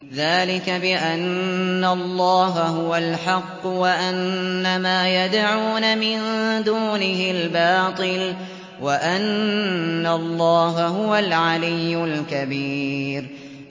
ذَٰلِكَ بِأَنَّ اللَّهَ هُوَ الْحَقُّ وَأَنَّ مَا يَدْعُونَ مِن دُونِهِ الْبَاطِلُ وَأَنَّ اللَّهَ هُوَ الْعَلِيُّ الْكَبِيرُ